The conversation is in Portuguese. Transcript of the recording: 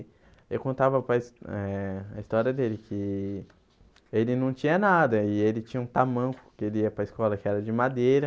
E eu contava para eh a história dele, que ele não tinha nada, e ele tinha um tamanco, que ele ia para a escola, que era de madeira.